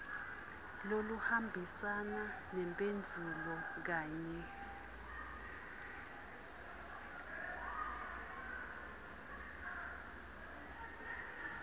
loluhambisana nemphendvulo kanye